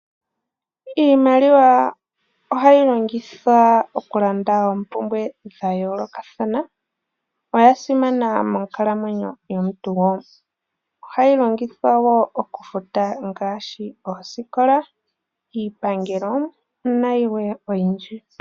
Iimaliwa ohayi longithwa okulanda oompumbwe dha yoolokathana. Oya simana monkalamwenyo yomuntu wo. Ohayi longithwa okufuta wo ngaashi, oosikola, iipangelo, nayilwe oyindji.